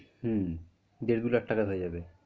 হম দেড়-দু লাখ টাকায় হয়ে যাবে।